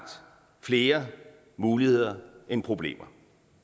flere muligheder end problemer